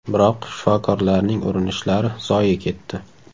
Biroq shifokorlarning urinishlari zoye ketdi.